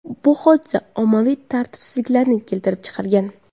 Bu hodisa ommaviy tartibsizliklarni keltirib chiqargan .